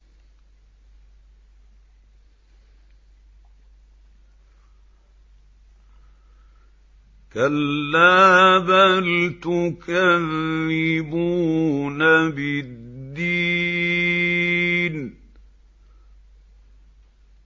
كَلَّا بَلْ تُكَذِّبُونَ بِالدِّينِ